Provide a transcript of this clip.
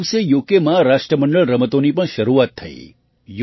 તે દિવસે યુકેમાં રાષ્ટ્રમંડળ રમતોની પણ શરૂઆત થઈ